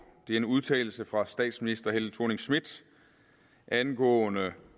det er en udtalelse fra statsminister helle thorning schmidt angående